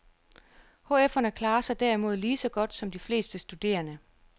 HFerne klarer sig derimod lige så godt som de fleste studerende.